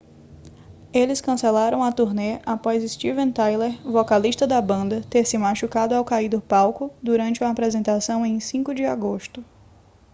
eles cancelaram a turnê após steven tyler vocalista da banda ter se machucado ao cair do palco durante uma apresentação em 5 de agosto